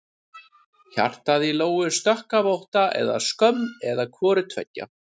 Hjartað í Lóu sökk af ótta eða skömm eða hvoru tveggja.